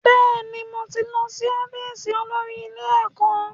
Bẹ́ẹ̀ni, mo ti lọ́ sí ọ́fíìsì olórí ilé ẹ̀kọ́